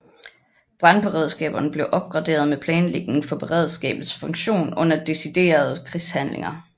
Brandberedskaberne blev opgraderet med planlægning for beredskabets funktion under deciderede krigshandlinger